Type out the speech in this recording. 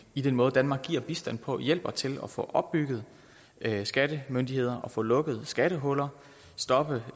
i den måde danmark giver bistand på hjælper til at få opbygget skattemyndigheder og få lukket skattehuller stoppet